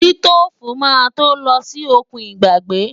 Sítóòfù máa tó lọ sí òkun ìgbàgbé.